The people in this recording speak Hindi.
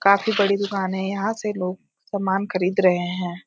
काफी बड़ी दुकान है यहाँ से लोग सामान खरीद रहे हैं।